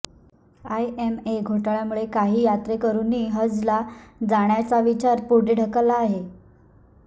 IMA घोटाळ्यामुळे काही यात्रेकरूनी हजला जाण्याचा विचार पुढे ढकलला आहे